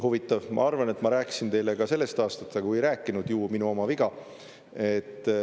Huvitav, ma arvan, et ma rääkisin teile ka sellest aastast, aga kui ei rääkinud, ju minu oma viga.